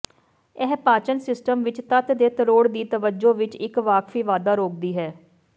ਇਹ ਪਾਚਨ ਸਿਸਟਮ ਵਿੱਚ ਤੱਤ ਦੇ ਤਰੋੜ ਦੀ ਤਵੱਜੋ ਵਿੱਚ ਇੱਕ ਵਾਕਫੀ ਵਾਧਾ ਰੋਕਦੀ ਹੈ